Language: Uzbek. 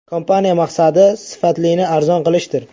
Kompaniya maqsadi sifatlini arzon qilishdir.